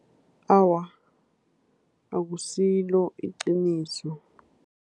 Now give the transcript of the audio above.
Awa, akusilo iqiniso.